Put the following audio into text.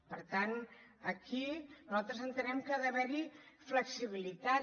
per tant aquí nosaltres entenem que ha d’haverhi flexibilitat